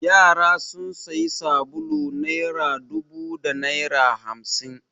Yara sun sayi sabulu naira dubu da naira hamsin.